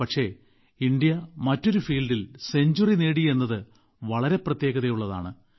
പക്ഷേ ഇന്ത്യ മറ്റൊരു ഫീൽഡിൽ സെഞ്ച്വറി നേടി എന്നത് വളരെ പ്രത്യേകതയുള്ളതാണ്